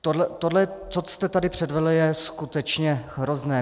Tohle, co jste tady předvedl, je skutečně hrozné.